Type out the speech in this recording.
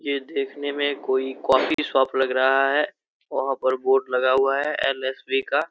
ये देखने में कोई कॉफी शॉप लग रहा है वहाँ पर बोर्ड लगा हुआ है। एल.एस.बी. का।